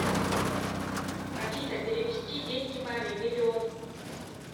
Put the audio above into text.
афина перевести деньги маме миллион